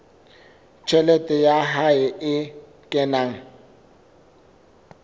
tjhelete ya hae e kenang